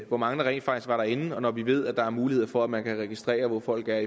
hvor mange der rent faktisk var derinde og med at vi ved at der er mulighed for at man kan registrere hvor folk er